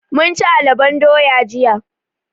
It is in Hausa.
Mun ci alabon doya jiya.